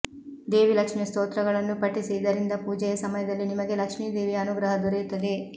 ದೇವಿ ಲಕ್ಷ್ಮಿ ಯ ಸ್ತೋತ್ರಗಳನ್ನು ಪಠಿಸಿ ಇದರಿಂದ ಪೂಜೆಯ ಸಮಯದಲ್ಲಿ ನಿಮಗೆ ಲಕ್ಷ್ಮೀ ದೇವಿಯ ಅನುಗ್ರಹ ದೊರೆಯುತ್ತದೆ